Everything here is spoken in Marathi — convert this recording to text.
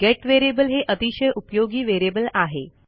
गेट व्हेरिएबल हे अतिशय उपयोगी व्हेरिएबल आहे